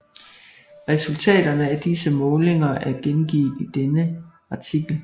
Resultaterne af disse målinger er gengivet i denne artikel